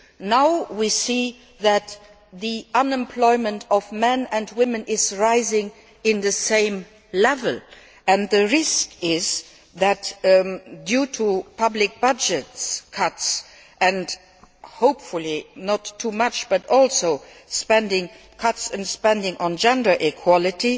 Now we see that the unemployment of men and women is rising at the same level and the risk is that due to public budget costs and hopefully not too much, but also cuts in spending on gender equality,